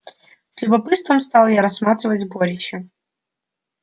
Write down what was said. с любопытством стал я рассматривать сборище